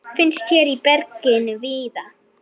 Finnst hér í berginu víða.